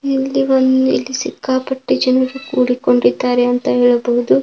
ಇಲ್ಲಿ ಒಂದ ಇಲ್ಲಿ ಸಿಕ್ಕಾಪಟ್ಟೆ ಜನರು ಕೂಡಿಕೊಂಡಿದ್ದಾರೆ ಅಂತ ಹೇಳಬಹುದು.